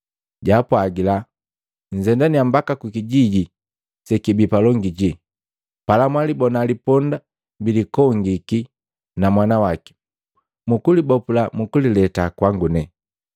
jaapwagila, “Nzendania mbaka kukijiji sekibi palongi ji, pala mwalibona liponda bilikongiki na mwana waki. Mwakagabopula mwagaleta kwangu.